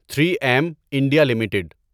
three M India limited